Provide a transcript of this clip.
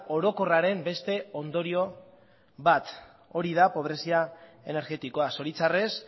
orokorraren beste ondorio bat hori da pobrezia energetikoa zoritxarrez